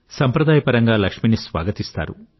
సంప్రదాయపరంగా లక్ష్మిని స్వాగతిస్తారు